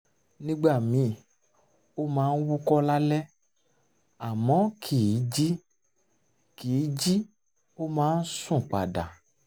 nígbà míì ó máa ń wúkọ́ lálẹ́ àmọ́ kìí jí kìí jí ó máa ń sùn padà